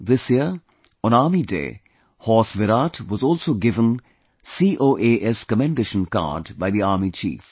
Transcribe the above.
This year, on Army Day, horse Virat was also given COAS Commendation Card by the Army Chief